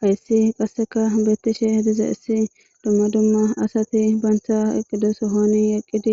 Hays qaseka betishe dizays dumma dumma asat banta eqido sohon eqid